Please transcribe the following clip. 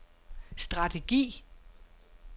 strategi